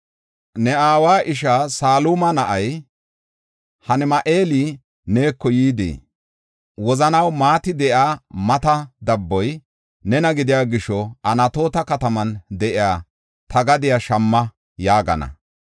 “Ne aawa isha Saluma na7ay, Hanami7eeli neeko yidi, ‘Wozanaw maati de7iya mata dabboy nena gidiya gisho Anatoota kataman de7iya ta gadiya shamma’ yaagana.